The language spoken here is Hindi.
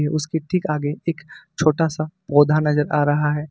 उसके ठीक आगे एक छोटा सा पौधा नजर आ रहा है।